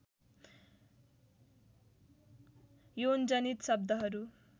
यौनजनित शब्दहरू